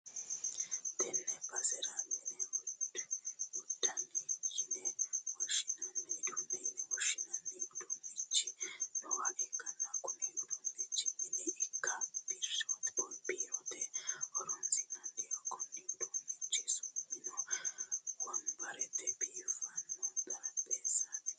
Tenne basera mini uduunne yine woshshinanni uduunnichi nooha ikkanna, kuni uduunnichino mine ikko biirote horonsi'nanniho, konni uduunnichi su'mino wonbaretenna biifanno xarapheezzaati.